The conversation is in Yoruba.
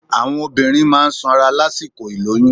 Àwọn obìnrin máa n sanra lásìkò ìlóyún